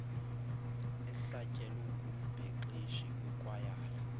ehlatyelwe ngumbhexeshi wekwayala